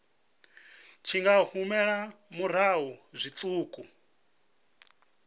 tshi nga humela murahu zwiṱuku